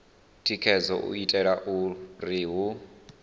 tikedzaho u itela uri hu